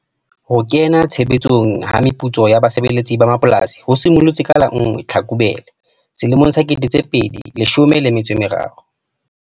Ho kena tshebetsong ha meputso ya basebeletsi ba mapolasing ho simollotse ka la 1 Tlhakubele 2013.